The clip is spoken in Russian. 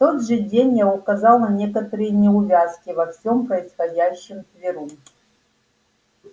в тот же день я указал на некоторые неувязки во всём происходящем тверу